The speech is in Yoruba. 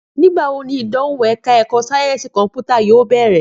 Nígbà wo ni ìdánwò ẹ̀ka ẹ̀kọ́ sáyẹ́ǹsì kọ̀mpútà yóò bẹ̀rẹ̀?